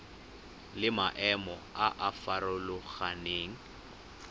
le maemo a a farologaneng